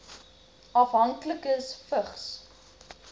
afhanklikes vigs